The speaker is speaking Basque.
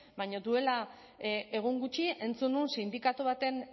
baina duela egun gutxi entzun nuen sindikatu baten